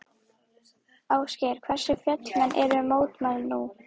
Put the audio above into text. Ásgeir, hversu fjölmenn eru mótmælin nú?